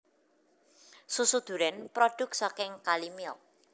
Susu duren produk saking Kalimilk